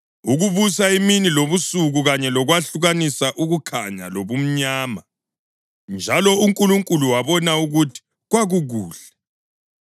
ukubusa imini lobusuku, kanye lokwahlukanisa ukukhanya lobumnyama. Njalo uNkulunkulu wabona ukuthi kwakukuhle.